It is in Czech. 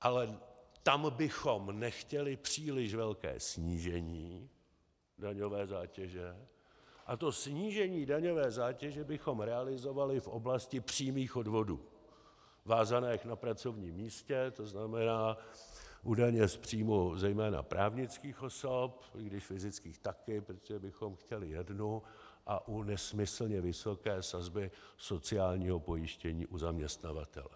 Ale tam bychom nechtěli příliš velké snížení daňové zátěže a to snížení daňové zátěže bychom realizovali v oblasti přímých odvodů vázaných na pracovním místě, to znamená u daně z příjmu zejména právnických osob, i když fyzických taky, protože bychom chtěli jednu, a u nesmyslně vysoké sazby sociálního pojištění u zaměstnavatele.